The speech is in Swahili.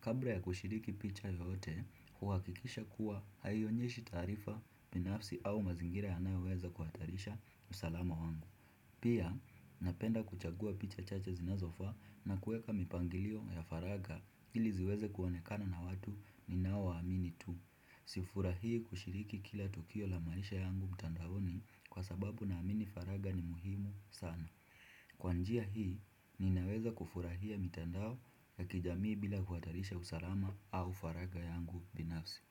kabla ya kushiriki picha yote, huhakikisha kuwa haionyeshi taarifa binafsi au mazingira yanayoweza kuhatarisha usalama wangu. Pia, napenda kuchagua picha chache zinazofaa na kuweka mipangilio ya faragha ili ziweze kuonekana na watu ninao waamini tu. Sifurahii kushiriki kila tukio la maisha yangu mtandaoni kwa sababu naamini faragha ni muhimu sana. Kwa njia hii ninaweza kufurahia mitandao ya kijamii bila kuhatarisha usalama au faragha yangu binafsi.